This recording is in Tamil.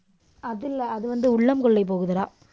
அதில்ல, அது வந்து உள்ளம் கொள்ளை போகுதுடா.